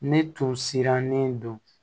Ne tun sirannen don